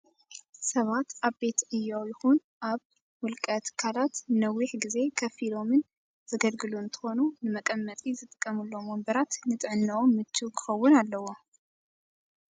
ሰባት ኣብ ቤት ዕዮ ይኹን ኣብ ውልተ ትካላት ንነዊሕ እዋን ከፍ ኢሎን ዘገልግሉ እንትኸኑ ንመቀመጢ ዝጥቀምሎም ወንበራት ንጥዕንኦም ምችው ክኸውን ኣለዎ።